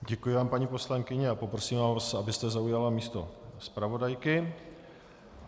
Děkuji vám, paní poslankyně, a poprosím vás, abyste zaujala místo zpravodajky.